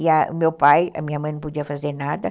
E meu pai, a minha mãe não podia fazer nada.